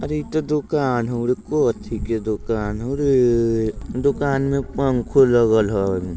अरे ई त दुकान हउ रे। कोथी के दुकान हउ रे? दुकान में पंखो लगल हई।